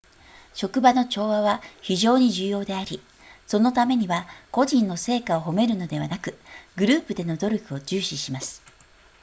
職場の調和は非常に重要でありそのためには個人の成果を褒めるのではなくグループでの努力を重視します